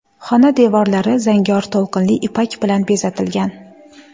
Xona devorlari zangor to‘lqinli ipak bilan bezatilgan.